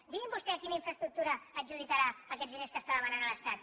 digui’m vostè a quina infraestructura adjudicarà aquests diners que demana a l’estat